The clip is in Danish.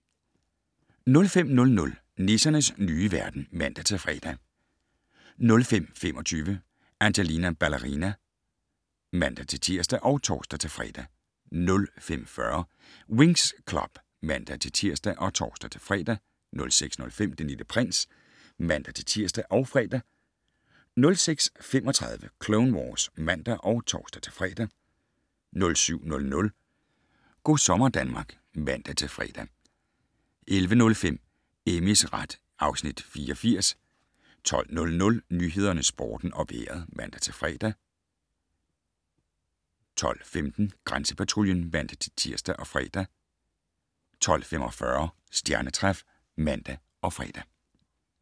05:00: Nissernes nye verden (man-fre) 05:25: Angelina Ballerina (man-tir og tor-fre) 05:40: Winx Club (man-tir og tor-fre) 06:05: Den Lille Prins (man-tir og fre) 06:35: Clone Wars (man og tor-fre) 07:00: Go' sommer Danmark (man-fre) 11:05: Amys ret (Afs. 84) 12:00: Nyhederne, Sporten og Vejret (man-fre) 12:15: Grænsepatruljen (man-tir og fre) 12:45: Stjernetræf (man og fre)